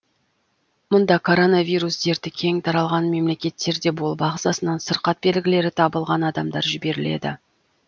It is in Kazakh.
мұнда коронавирус дерті кең таралған мемлекеттерде болып ағзасынан сырқат белгілері табылған адамдар жіберіледі